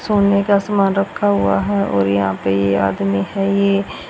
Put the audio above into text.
सोने का समान रखा हुआ है और यहां पे ये आदमी है ये--